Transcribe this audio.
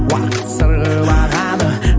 уақыт сырғып ағады